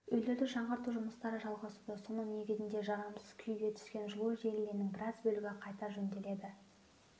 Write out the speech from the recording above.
үйлерді жаңғырту жұмыстары жалғасуда соның негізінде жарамсыз күйге түскен жылу желілерінің біраз бөлігі қайта жөнделеді